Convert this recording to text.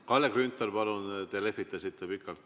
Kalle Grünthal, palun, te lehvitasite pikalt!